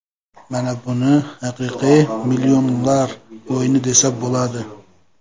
Mana buni haqiqiy millionlar o‘yini desa bo‘ladi.